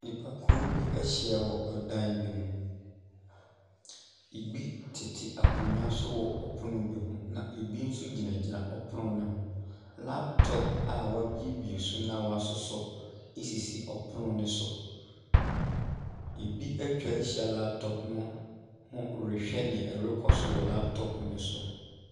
Nnipakuo bi ahyia wɔ dan bi mu. Ebi tete akonnwa so wɔ pono bi ho na ebi nso gyinagyina pono no ho. Laptop a wɔabuebue so na wɔasosɔ sisi pono no so. Ebi atwa ahyia laptop no ho rehwɛ nea ɛrekɔ so wɔ laptop no so.